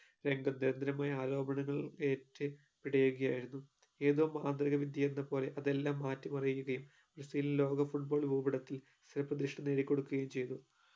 രംഗത്ത് ദരിദ്രമായ ആരോപണങ്ങൾ ഏറ്റു പിടയുകയായിരുന്നു ഏതോ മന്ത്രികവിദ്യയെന്ന പോലെ അതെല്ലാം മാറ്റിമറിയുകയും ബ്രസീൽ ലോക football ഭൂപടത്തിൽ സ്ഥിര പ്രതിഷ്ഠ നേടികൊടുക്കുകയും ചെയ്തു